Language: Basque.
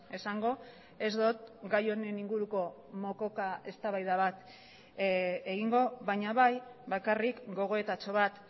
esango ez dut gai honen inguruko mokoka eztabaida bat egingo baina bai bakarrik gogoetatxo bat